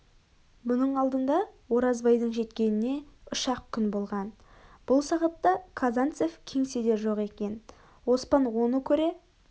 бұның алдында оразбайдың жеткеніне үш-ақ күн болған бұл сағатта казанңев кеңседе жоқ екен оспан оны көре